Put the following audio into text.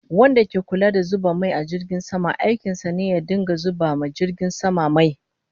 Wanda ke Kulla da zuba mai a jirgin sama, aikin sa ne ya dinga zuba ma jirgin sama mai